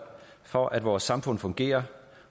for at vores samfund fungerer